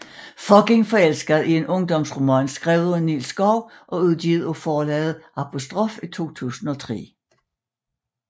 Fucking forelsket er en ungdomsroman skrevet af Nils Schou og udgivet af forlaget Apostrof i 2003